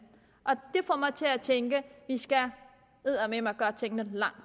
og mig til at tænke vi skal eddermame gøre tingene